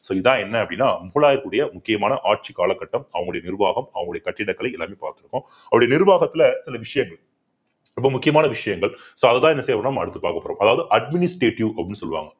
so இதான் என்ன அப்படின்னா முகலாயர்களுடைய முக்கியமான ஆட்சி கால கட்டம் அவங்களுடைய நிர்வாகம் அவங்களுடைய கட்டிடக்கலை எல்லாமே பார்த்திருக்கோம் அவருடைய நிர்வாகத்துல சில விஷயங்கள் ரொம்ப முக்கியமான விஷயங்கள் so அதுதான் என்ன செய்யப்போறோம் நம்ம அடுத்து பார்க்கப்போறோம் அதாவது administrative அப்படின்னு சொல்லுவாங்க